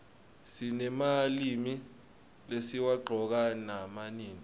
sinemalimi lesiwaqcoka nama nini